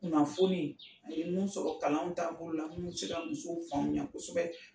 Kunnanfoni, an ye mun sɔrɔ kalanw taabolo la munnu bɛ se ka musow faamuya kosɛbɛ.